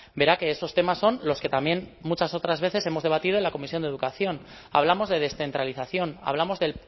verá que esos temas son los que también muchas otras veces hemos debatido en la comisión de educación hablamos de descentralización hablamos de